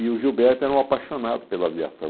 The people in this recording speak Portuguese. E o Gilberto era um apaixonado pela aviação.